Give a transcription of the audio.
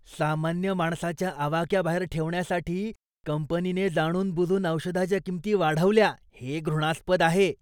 सामान्य माणसाच्या आवाक्याबाहेर ठेवण्यासाठी कंपनीने जाणूनबुजून औषधाच्या किंमती वाढवल्या हे घृणास्पद आहे.